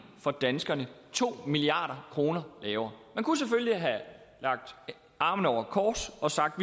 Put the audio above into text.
for danskerne to milliard kroner lavere man kunne selvfølgelig have lagt armene over kors og sagt